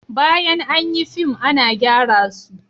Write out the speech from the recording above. Bayan an yi fim ana gyara su